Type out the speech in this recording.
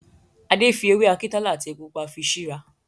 Adé fi ewé Akintola àti epo Pupa fi sí ra